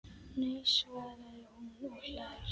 Nei! svarar hún og hlær.